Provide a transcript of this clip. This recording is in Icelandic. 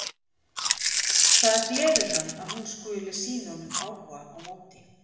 Það gleður hann að hún skuli sýna honum áhuga á móti.